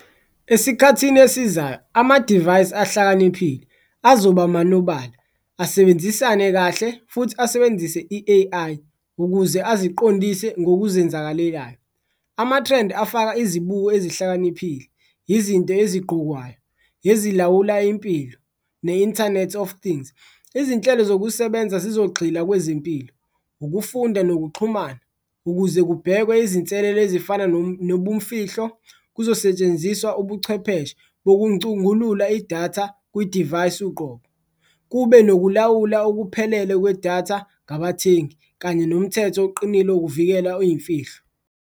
Esikhathini esizayo amadivayisi ahlakaniphile azoba manobala, asebenzisane kahle futhi asebenzise i-A_I ukuze aziqondise ngokuzenzakalelayo, amathrendi afaka izibuko ezihlakaniphile, izinti ezigqokwayo ezilawula impilo ne-internet of things. Izinhlelo zokusebenza zizogxila kwezempilo, ukufunda nokuxhumana ukuze kubhekwe izinselelo ezifana nobumfihlo, kuzosetshenziswa ubuchwepheshe bokuncungulula idatha kwidivayisi uqobo. Kube nokulawula okuphelele kwedatha ngabathengi kanye nomthetho oqinile ukuvikela iy'mfihlo.